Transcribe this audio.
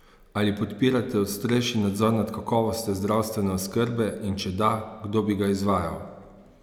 Ali podpirate ostrejši nadzor nad kakovostjo zdravstvene oskrbe in če da, kdo bi ga izvajal?